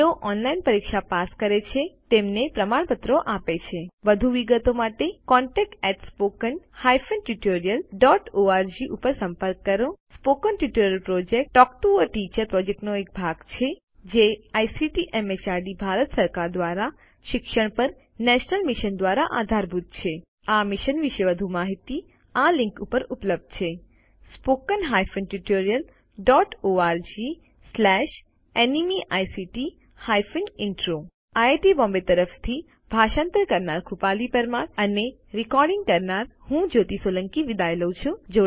જેઓ ઓનલાઇન પરીક્ષા પાસ કરે છે તેમને પ્રમાણપત્રો આપે છે વધુ વિગતો માટે contactspoken tutorialorg ઉપર સંપર્ક કરો spoken tutorial project talk to a teacher પ્રોજેક્ટનો ભાગ છે જે આઇસીટી એમએચઆરડી ભારત સરકાર દ્વારા શિક્ષણ પર નેશનલ મિશન દ્વારા આધારભૂત છે આ મિશન વિશે વધુ માહીતી આ લીંક ઉપર ઉપલબ્ધ છે spoken hyphen tutorial dot org slash NMEICT hyphen intro IIT Bombay તરફથી ભાષાંતર કરનાર હું કૃપાલી પરમાર વિદાય લઉં છું